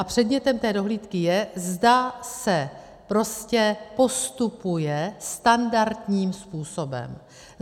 A předmětem té dohlídky je, zda se prostě postupuje standardním způsobem.